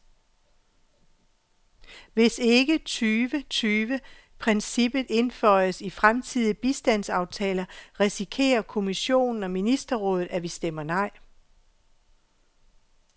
Hvis ikke tyve tyve princippet indføjes i fremtidige bistandsaftaler, risikerer kommissionen og ministerrådet, at vi stemmer nej.